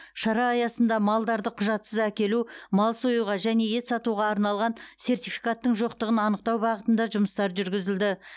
шара аясында малдарды құжатсыз әкелу мал союға және ет сатуға арналған сертификаттың жоқтығын анықтау бағытында жұмыстар жүргізілді